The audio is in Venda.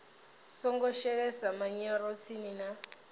songo shelesa manyoro tsini na